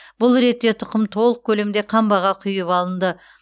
бұл ретте тұқым толық көлемде қамбаға құйып алынды